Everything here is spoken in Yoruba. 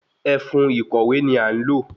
Ẹfun ìkòwé ni a n lo